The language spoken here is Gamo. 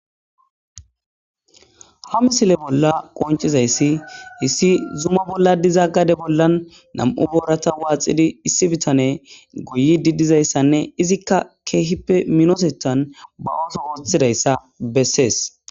Ha misileza bolla qonccizayssi issi zuma bolla diza gade bollan nam7u booratha waaxidi issi bithanee goyyiiddi dizayssanne izikka keehippe minitheththan ba ooso ooththizayssa bessees.